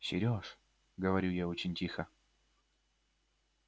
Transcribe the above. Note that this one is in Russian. серёж говорю я очень тихо